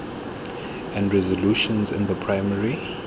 and resolutions in the primary